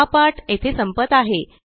हा पाठ येथे संपत आहे